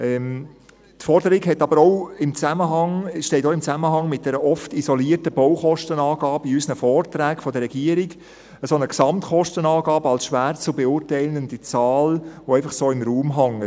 Die Forderung steht aber auch im Zusammenhang mit dieser oft isolierten Baukostenangabe in unseren Vorträgen der Regierung – so eine Gesamtkostenangabe als schwer zu beurteilende Zahl, die einfach so im Raum hängt.